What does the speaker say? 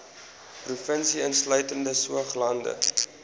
provinsie insluitende saoglande